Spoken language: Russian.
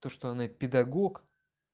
что она педагог